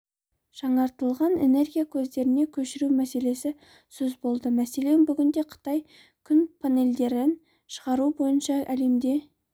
жаңартылған энергия көздеріне көшіру мәселесі сөз болды мәселен бүгінде қытай күн панельдерін шығару бойынша әлемде